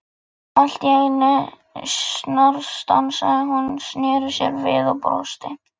Allt í einu snarstansaði hún, snéri sér við og brosti.